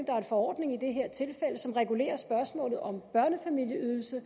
er en forordning i det her tilfælde som regulerer spørgsmålet om børnefamilieydelsen